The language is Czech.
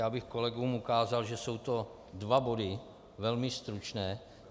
Já bych kolegům ukázal, že jsou to dva body velmi stručné.